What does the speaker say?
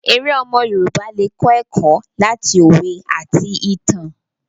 Èrè omo Yorùbá le kọ eko lati owe ati itan.